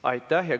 Aitäh!